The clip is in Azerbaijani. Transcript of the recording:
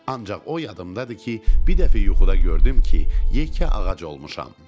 Ancaq o yadımdadır ki, bir dəfə yuxuda gördüm ki, yekə ağac olmuşam.